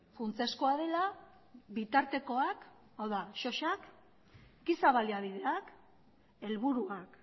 funtsezkoa dela bitartekoak hau da sosak giza baliabideak helburuak